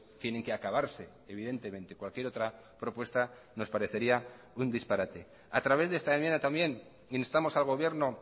tienen que acabarse evidentemente cualquier otra propuesta nos parecería un disparate a través de esta enmienda también instamos al gobierno